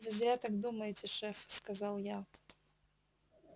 вы зря так думаете шеф сказал я